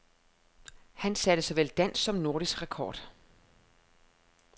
Han satte såvel dansk som nordisk rekord.